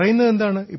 അങ്ങനെയാണോ പറയുന്നത്